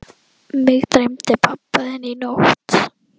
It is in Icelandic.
Mig dreymdi pabba þinn í nótt.